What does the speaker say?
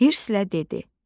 Hirsliə dedi: